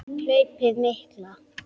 Hlaupið mikla